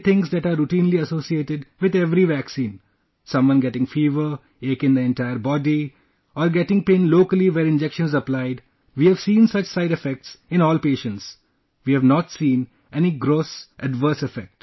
Only things that are routinely associated with every vaccine someone getting fever, ache in the entire body or getting pain locally where injection is applied we have seen such side effects in all patients ;we have not seen any gross adverse effect